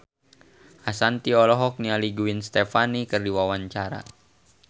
Ashanti olohok ningali Gwen Stefani keur diwawancara